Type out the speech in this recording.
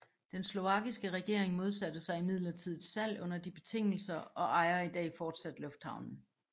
Den slovakiske regering modsatte sig imidlertid et salg under de betingelser og ejer i dag fortsat lufthavnen